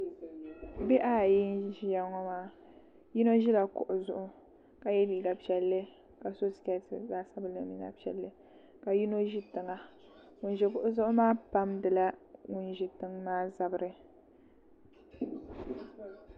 Bihi ayi n ʒiya ŋo maa yino ʒila kuɣu zuɣu ka yɛ liiga piɛlli ka so skɛti zaɣ sabinli mini zaɣ piɛlli ka yino ʒi tiŋa ŋun ʒi kuɣu zuɣu maa pamdila ŋun ʒi tiŋ maa zabiri